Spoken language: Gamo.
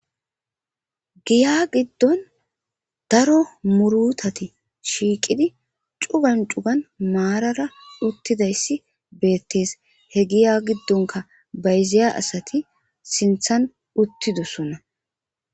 Giya giddon daro murutati shiiqidi cugan cugan maarara uttidayssi beettees he giya giddonka bayziya asati sinthan uttidosonna